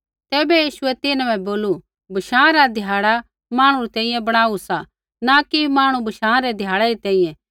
तैबै यीशुऐ तिन्हां बै बोलू बशाँ रा ध्याड़ा मांहणु री तैंईंयैं बणाऊ सा न कि मांहणु बशाँ रै ध्याड़ै री तैंईंयैं